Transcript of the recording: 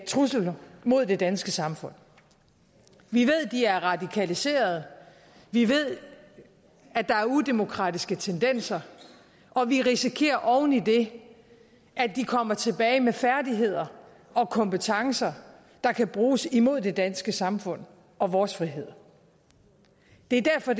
trusler mod det danske samfund vi ved at de er radikaliserede vi ved at der er udemokratiske tendenser og vi risikerer oven i det at de kommer tilbage med færdigheder og kompetencer der kan bruges imod det danske samfund og vores frihed det er derfor